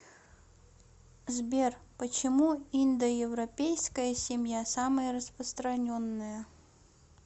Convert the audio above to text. сбер почему индоевропейская семья самая распространенная